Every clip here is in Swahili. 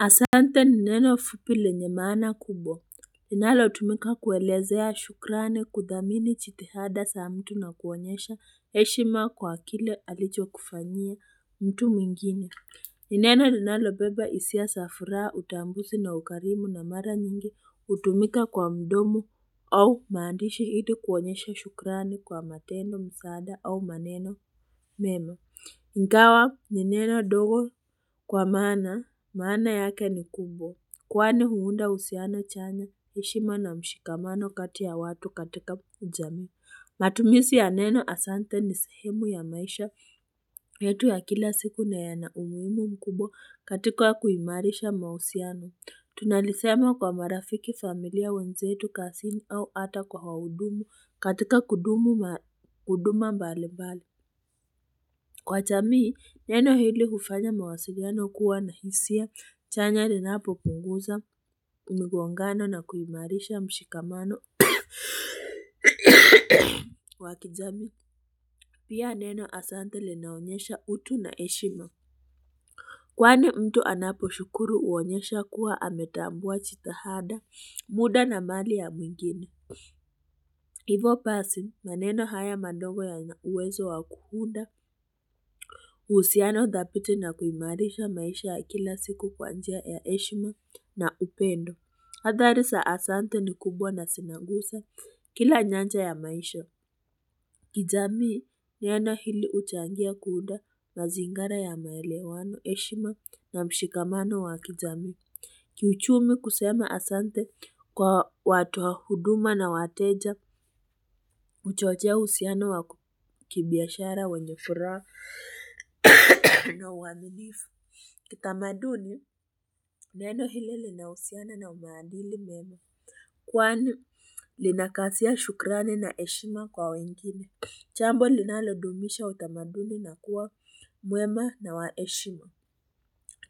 Asante ni neno fupi lenye maana kubwa. Linalo tumika kuelezea shukrani, kuthamini jitihada za mtu na kuonyesha heshima kwa kile alichokufanyia mtu mwingine. Ni neno linalobeba hisia za furaha, utambuzi na ukarimu na mara nyingi hutumika kwa mdomo au maandishi ili kuonyesha shukrani kwa matendo, msaada au maneno memo. Ingawa ni neno dogo kwa maana. Maana yake ni kubwa. Kwani huunda uhusiano chanya, heshima na mshikamano kati ya watu katika jamii. Matumizi ya neno asante ni sehemu ya maisha yetu ya kila siku na yana umuhimu mkubwa katika kuimarisha mahusiano. Tunali sema kwa marafiki, familia, wenzetu, kazini au hata kwa waudumu katika huduma mbalimbali. Kwa jamii, neno hili hufanya mawasiliano kuwa na hisia chanya linapo punguza mgongano na kuimarisha mshikamano wa kijamii. Pia neno asante linaonyesha utu na heshima. Kwani mtu anaposhukuru huonyesha kuwa ametambua jitihada, muda na mali ya mwingine. Hivo basi maneno haya madogo yana uwezo wa kuunda uhusiano thabiti na kuimarisha maisha ya kila siku kwa njia ya heshima na upendo. Hadhari za asante ni kubwa na zinaguza kila nyanja ya maisha kijamii neno hili huchangia kuunda mazingira ya maelewano, heshima na mshikamano wa kijamii Kiuchumi kusema asante kwa watu wa huduma na wateja huchochea uhusiano wa kibiashara wenye furaha na uaminifu. Kitamaduni, neno hili linahusiana na umaadili mema. Kwani, linakazia shukrani na heshima kwa wengine. Jambo linalodumisha utamaduni na kuwa mwema na wa heshima.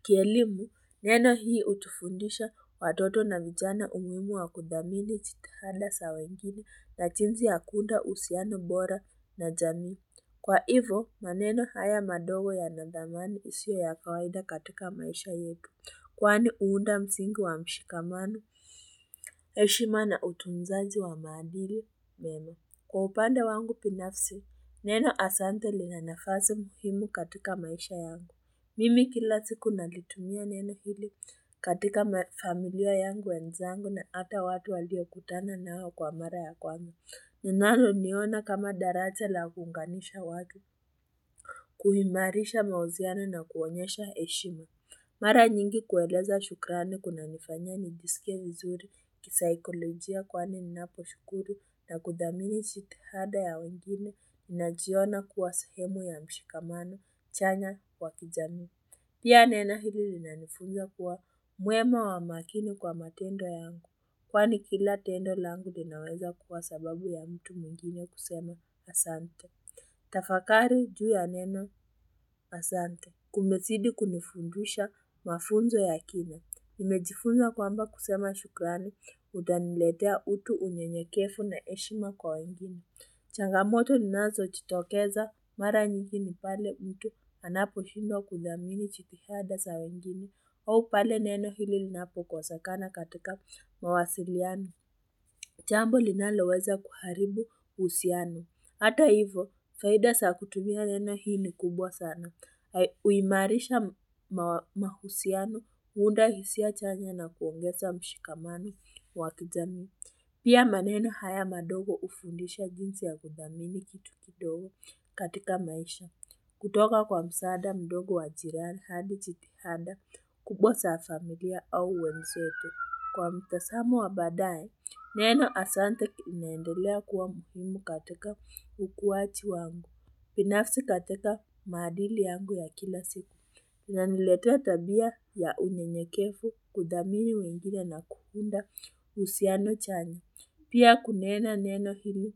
Kielimu, neno hii utufundisha watoto na vijana umuhimu wa kudhamini jitihanda za wengine na jinsi ya kuunda uhusiano bora na jamii. Kwa hivo, maneno haya madogo yenye dhamani isio ya kawaida katika maisha yetu. Kwani uhunda msingi wa mshikamano, heshima na utuzaji wa maandiri, neno. Kwa upande wangu binafsi, neno asante lina nafasi muhimu katika maisha yangu. Mimi kila siku nalitumia neno hili katika familia yangu ya mizani na hata watu waliokutana nao kwa mara ya kwanza. Ninaloliona kama daraja la kuunganisha watu, kuhimarisha mahusiano na kuonyesha heshima. Mara nyingi kueleza shukrani kunanifanya nijisike vizuri, kisaikolojia kwani ninapo shukuru, na kudhamini jiitihada ya wengine, najiona kuwa sehemu ya mshikamano, chanya wa kijamii. Pia neno hili linanifunza kuwa mwema wa makini kwa matendo yangu. Kwani kila tendo langu linaweza kuwa sababu ya mtu mwingine kusema asante. Tafakari juu ya neno asante. Kumezidi kunifundisha mafunzo ya kina. Nimejifunza kwamba kusema shukrani. Kutaniletea utu unyenyekefu na heshima kwa wengine. Changamoto zinazojitokeza mara nyingi ni pale mtu. Anaposhindwa kudhamini jitihada za wengine au pale neno hili linapokosekana katika mawasiliano. Jambo linaloweza kuharibu uhusiano. Hata hivo, faida za kutumia neno hii ni kubwa sana. Uimarisha mahusiano, uunda hisia chanya na kuongeza mshikamano wa kijamii. Pia maneno haya madogo hufundisha jinsi ya kudhamini kitu kidogo katika maisha. Kutoka kwa msaada mdogo wa jirani hadi jitianda kubwa za familia au wenzetu. Kwa mtazamo wa baadaye, neno Asante linaendelea kuwa muhimu katika ukuwaji wangu. Binafsi katika maadili yangu ya kila siku. Inaniletea tabia ya unyenyekefu kudhamini wengine na kuunda uhusiano chanya. Pia kunena neno hili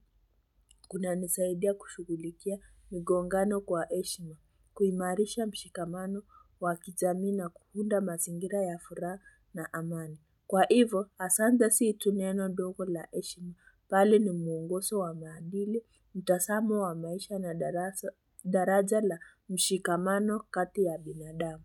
kunanisaidia kushughulikia migongano kwa heshima, kuimarisha mshikamano wa kijamii na kuunda mazingira ya furaha na amani. Kwa hivo, asante si tu neno ndogo la heshima bali ni mwongozso wa maadili, mtazamo wa maisha na daraja la mshikamano kati ya binadamu.